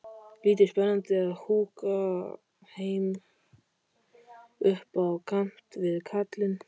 Lítið spennandi að húka heima upp á kant við kallinn.